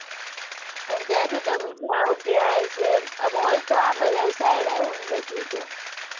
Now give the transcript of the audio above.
પણ ત્યાંથી તમે જાઓ ક્યાં? mall તો આ side આવું ને બધું તો